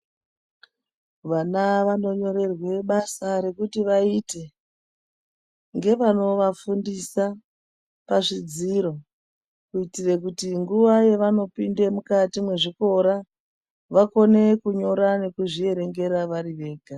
Vana vanonyorerwe basa rekuti vaite ngevanovafundisa pazvidziro kuitire kuti nguva yevanopinde mukati mwezvikora, vakone kunyora nekuzvierengera vari vega.